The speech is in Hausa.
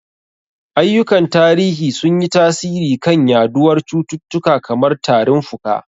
Ayyukan tarihi sun yi tasiri kan yaduwar cututtuka kamar tarin fuka.